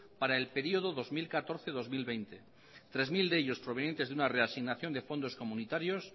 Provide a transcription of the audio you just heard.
para el periodo dos mil catorce dos mil veinte tres mil de ellos provenientes de una reasignación de fondos comunitarios